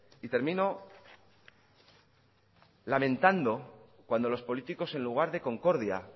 y termino lamentando cuando los políticos en lugar de concordia